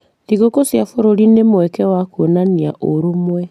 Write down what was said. Thigũkũ cia bũrũri nĩ mweke wa kuonania ũrũmwe